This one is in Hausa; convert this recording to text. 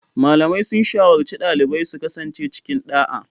Malamai sun shawarci dalibai su kasance cikin ɗa'a